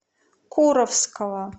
куровского